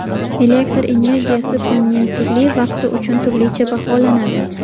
Elektr energiyasi kunning turli vaqti uchun turlicha baholanadi.